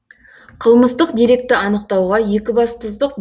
қылмыстық деректі анықтауға екібастұздық